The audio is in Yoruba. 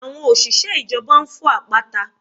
Àwọn òṣìṣẹ́ ìjọba ń fọ́ àpáta